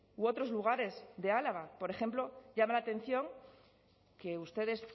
u otros lugares de álava por ejemplo llama la atención que ustedes